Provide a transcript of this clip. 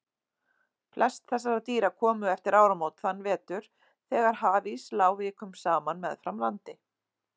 Flest þessara dýra komu eftir áramót þann vetur þegar hafís lá vikum saman meðfram landi.